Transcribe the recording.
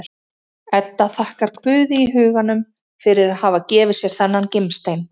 Edda þakkar Guði í huganum fyrir að hafa gefið sér þennan gimstein.